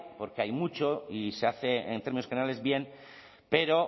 porque hay mucho y se hace en términos generales bien pero